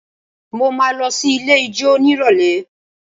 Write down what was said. Mo máa lọ sí ilé ijó nírọ̀lẹ́